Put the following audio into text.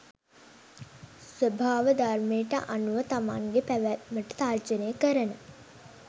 ස්වාභාවධර්මයට අනුව තමන්ගෙ පැවැත්මට තර්ජනය කරන